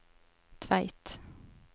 Tveit